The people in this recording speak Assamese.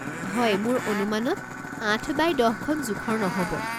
হয় মোৰ অনুমানত আঠ বাই দহ খন জোখৰ নহ'ব।